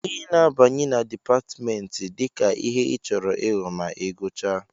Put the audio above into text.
ị na-abanye na Dipatmentị dịka ihe ịchọrọ ịghọ ma ị gụchaa